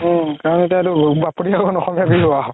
উম কাৰণ এতিয়াতো বাপতি সাহোন অসমীয়া বিহু